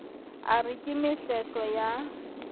a re ke mehlehlo ya